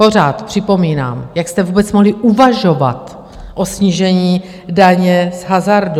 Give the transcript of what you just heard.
Pořád připomínám: jak jste vůbec mohli uvažovat o snížení daně z hazardu?